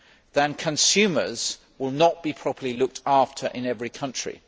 then consumers will not be properly looked after in every country.